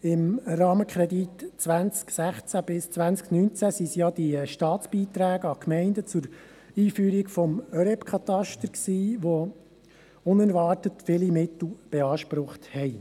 Im Rahmenkredit 2016–2019 waren es ja die Staatsbeiträge an die Gemeinden zur Einführung des Katasters der öffentlich-rechtlichen Eigentumsbeschränkungen (ÖREBK), die unerwartet viel Mittel beansprucht haben.